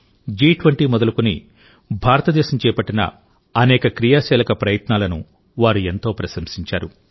జి20 మొదలుకుని భారతదేశం చేపట్టిన అనేక క్రియాశీలక ప్రయత్నాలను వారు ఎంతో ప్రశంసించారు